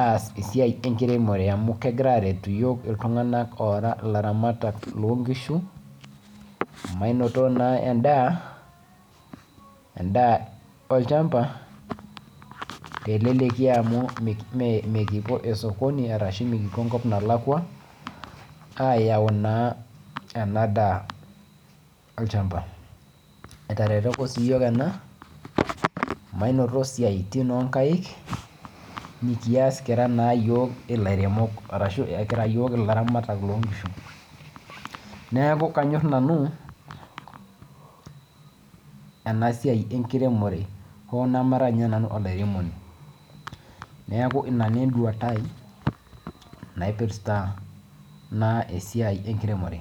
aas esiai enkiremore amu kegira aretu iyiok iltung'ana oraa elaramatak loo nkishu manoto naa enda olchamba tee leleki amu nikipuo sokoni arashu nikipuo enkop nalakua ayau naa ena daa olchamba etaretoko sii iyiok ena manoto esiatin oo nkaik kira naa iyiok elairemok arashu kira iyiok elaramatak loo nkishu neeku kanyor nanu ena siai enkiremore hoo namara ninye nanu olairemoni neeku ena naa enduata naipirta esiai enkiremore